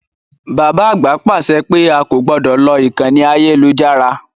Bàbá àgbà pàṣẹ pé a kò gbọdọ̀ lo ìkànnì ayélujára.